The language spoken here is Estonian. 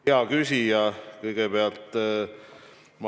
Hea küsija!